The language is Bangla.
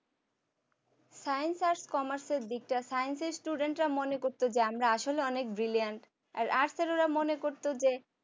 science arts commerce দিকটা science student মনে করতো যে আমরা আসলে অনেক brilliant আর arts ওরা মনে করতো যে